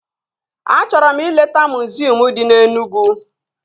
Achọrọ m ileta miziọm dị na Enugwu